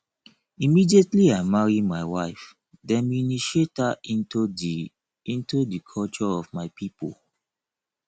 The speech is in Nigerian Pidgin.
immediately i marry my wife dem initiate her into di into di culture of my pipo